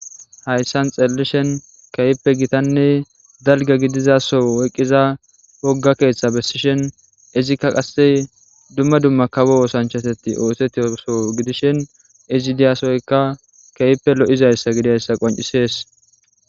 Haysan xelishen kehipe gitane dalga gidiza Soho oyqiza woga ketha besishen izika qase duma duma kawo osanchateti osetiza Soho gidishin ezi diya sohoyka kehipe lo'izaysa gidiyaysa qonc'ses.